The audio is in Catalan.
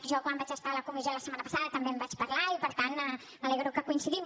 jo quan vaig estar a la comissió la setmana passada també en vaig parlar i per tant m’alegro que coincidim